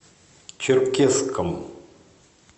черкесском